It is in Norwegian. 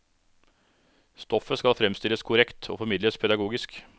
Stoffet skal fremstilles korrekt og formidles pedagogisk.